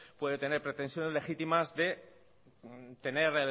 puede tener pretensiones legítimas de tener